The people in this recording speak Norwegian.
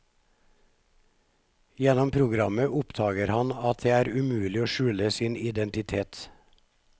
Gjennom programmet oppdager han at det er umulig å skjule sin identitet.